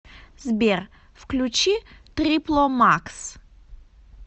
сбер включи трипло макс